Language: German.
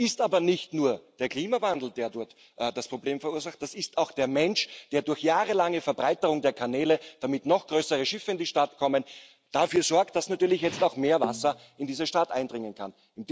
Das ist aber nicht nur der Klimawandel, der dort das Problem verursacht, das ist auch der Mensch, der durch jahrelange Verbreiterung der Kanäle, damit noch größere Schiffe in die Stadt kommen, dafür sorgt, dass natürlich jetzt auch mehr Wasser in diese Stadt eindringen kann.